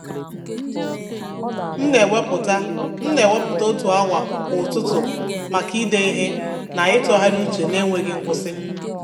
M na-ewepụta M na-ewepụta otu awa kwa ụtụtụ maka ide ihe na ịtụgharị uche na-enweghị nkwụsị.